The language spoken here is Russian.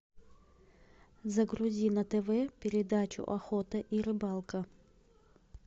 загрузи на тв передачу охота и рыбалка